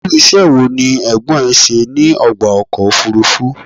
Irú iṣẹ́ wo ní Ẹ̀gbọ́n ẹ ṣe ní ọgbà ọkọ̀ òfúrúfú?